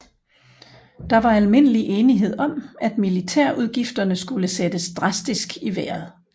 Der var almindelig enighed om at militærudgifterne skulle sættes drastisk i vejret